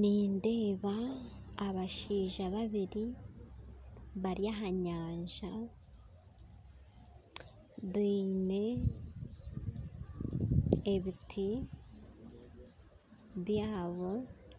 Nindeeba abashaija babiri bari ahanyanza baine ebiti byabo